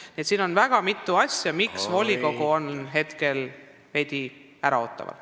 Nii et siin on väga mitu põhjust, miks volikogu on veidi äraootav.